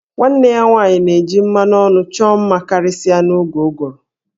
Nwanne ya nwanyị na-eji mmanụ ọnụ chọọ mma karịsịa n'oge ụgụrụ